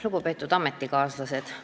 Lugupeetud ametikaaslased!